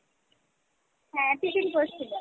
হ্যাঁ tiffin করছিলাম।